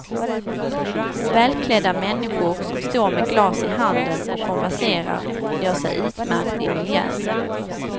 Välklädda människor som står med glas i handen och konverserar gör sig utmärkt i miljön.